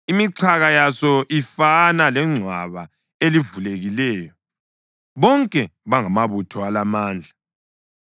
Imixhaka yaso ifana lengcwaba elivulekileyo, bonke bangamabutho alamandla.